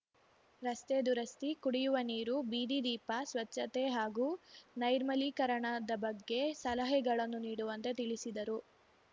ರಸ್ತೆ ದುರಸ್ತಿ ಕುಡಿಯುವ ನೀರು ಬೀದಿ ದೀಪ ಸ್ಪಚ್ಛತೆ ಹಾಗೂ ನೈರ್ಮಲೀಕರಣದ ಬಗ್ಗೆ ಸಲಹೆಗಳನ್ನು ನೀಡುವಂತೆ ತಿಳಿಸಿದರು